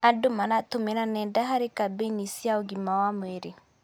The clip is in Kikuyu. Andũ maratũmĩra nenda harĩ kambĩini cia ũgima wa mwĩrĩ.